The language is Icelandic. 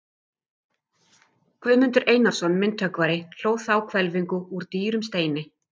Guðmundur Einarsson myndhöggvari hlóð þá hvelfingu úr dýrum steini.